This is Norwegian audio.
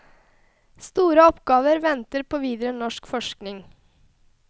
Store oppgaver venter på videre norsk forskning.